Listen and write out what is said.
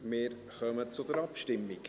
Wir kommen zur Abstimmung.